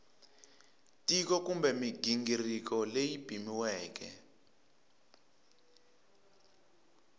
tiko kumbe mighingiriko leyi pimiweke